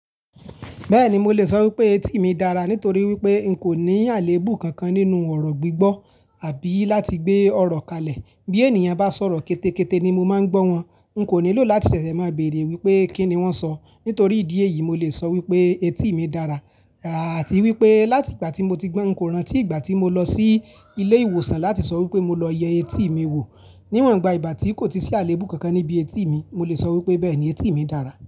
Bẹ́ẹ̀ni mo lè sọ wípé etí mi dára nítorí wípé n kò ní àléébù kankan nínú ọ̀rọ̀ gbígbọ́ àbí láti gbé ọ̀rọ̀ kalẹ̀. Bí ènìyàn bá sọ̀rọ̀ kétékété ni mo máa ń gbọ́ wọn. N kò nílò láti ṣẹ̀ṣẹ̀ máa béèrè wípé kí ni wọ́n sọ. Nítorí ìdí èyí mo lè sọ wípé etí mi dára àti wípé láti ìgbà tí mo ti gbọ́n, n kò rántí ìgbà tí mo lọ sí ilé ìwòsàn láti sọ wípé mo lọ yẹ etí mi wò. Níwọ̀nba ìgbà tí kò tí sí àléébù kankan níbí etí mi, mo lè sọ wípé bẹ́ẹ̀ni etí mi dára.